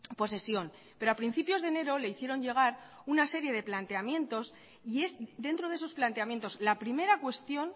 posesión pero a principios de enero le hicieron llegar una serie de planteamientos y es dentro de esos planteamientos la primera cuestión